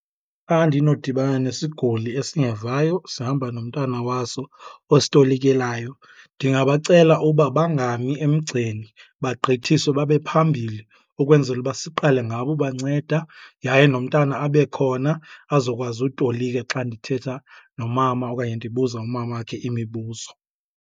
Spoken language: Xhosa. ndinodibana nesiguli esingevayo sihamba nomntana waso ositolikelayo ndingabacela uba bangami emgceni bagqithiswe babe phambili ukwenzela uba siqale ngabo ubanceda. Yaye nomntana abe khona azokwazi utolika xa ndithetha nomama okanye ndibuza umamakhe imibuzo.